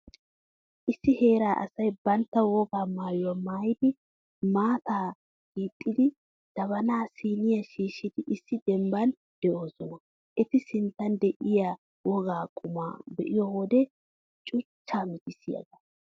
Issi heeraa asay bantta wogaa maayuwaa maayidi, maataa hiixxidi, jabaanaa siiniyaa shiishshidi issi dembban de'oosona. Eta sinttan de'iyaa wogaa qumaa be'iyo wode cuchchaa mitissiyaaga.